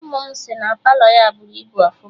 Ụmụ m si na Palọ ya bụrụ ibu ọfụma